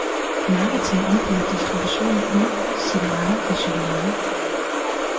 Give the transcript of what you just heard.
Marketing omfatter distribution af øl, cigaretter og chokolade.